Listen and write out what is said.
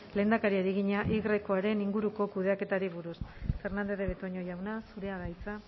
lehendakariari egina yaren inguruko kudeaketari buruz fernández de betoño jauna zurea da hitza